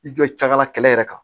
I jɔ cɛ ka la kɛlɛ yɛrɛ kan